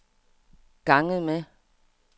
ganget med